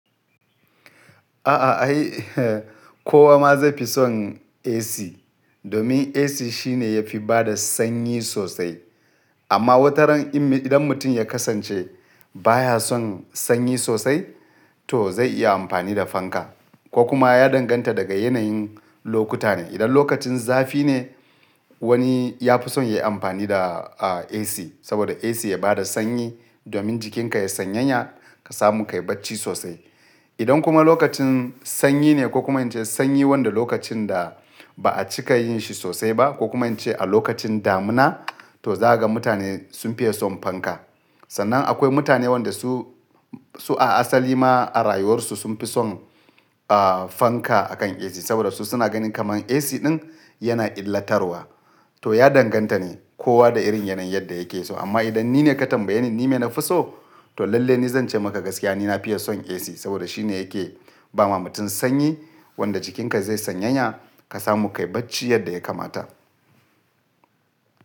A'a ai, ko wa ma zai fi son AC, domin AC shine yafi bada sanyi sosai. Amma wataran idan mutum ya kasance baya son sanyi sosai to zai iya amfani da fanka. Ko kuma ya danganta daga yanayin lokuta ne. Idan lokacin zafi ne wani ya fi son ya yi amfani da AC saboda AC ya bada sanyi domin jikinka ya sanyanya ka samu ka yi bacci sosai. Idan kuma lokacin sanyi ne ko kuma ince sanyi wanda lokacin da ba a cika yin shi sosai ba ko kuma ince a lokacin damuna to zaga mutane sun fiye son fanka. Sannan akwai mutane wanda su, su a asali ma a rayuwarsu sun fi son ah, fanka akan AC saboda su suna ganin kaman AC ɗin yana illatarwa. To ya danganta ne kowa da irin yanayin yadda yake so. Amma idan ni ne ka tambaye ni, ni me na fi so to lalle ni zan ce maka gaskiya ni na fiye son AC saboda shine yake ba ma mutum sanyi wanda jikinka ze sanyanya ka samu ka yi bacci yadda ya kamata.